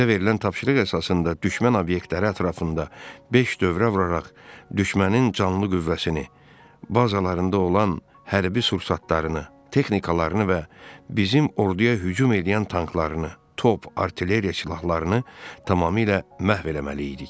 Bizə verilən tapşırıq əsasında düşmən obyektləri ətrafında beş dövrə vuraraq düşmənin canlı qüvvəsini, bazalarında olan hərbi sursatlarını, texnikalarını və bizim orduya hücum eləyən tanklarını, top, artilleriya silahlarını tamamilə məhv etməli idik.